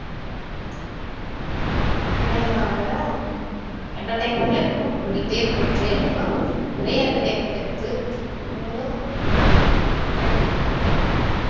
அதே மாதிரி தான் entertainment ல இன்னும் சொல்லிட்டே போயிட்டே இருக்கலாம் நிறைய entertainment இருக்கு நீங்களும் entertainment பண்ணிட்டு தான் இருப்பீங்க